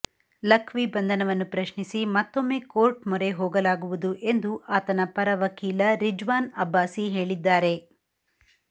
ಲಖ್ವಿ ಬಂಧನವನ್ನು ಪ್ರಶ್ನಿಸಿ ಮತ್ತೊಮ್ಮೆ ಕೋರ್ಟ್ ಮೊರೆ ಹೋಗಲಾಗುವುದು ಎಂದು ಆತನ ಪರ ವಕೀಲ ರಿಜ್ವಾನ್ ಅಬ್ಬಾಸಿ ಹೇಳಿದ್ದಾರೆ